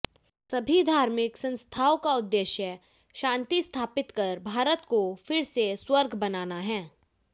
सभी धार्मिक संस्थाओं का उद्देश्य शांति स्थापित कर भारत को फिर से स्वर्ग बनाना है